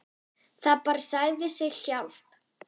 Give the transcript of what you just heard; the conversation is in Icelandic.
Það bara sagði sig sjálft.